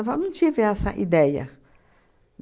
Eu não tive essa ideia.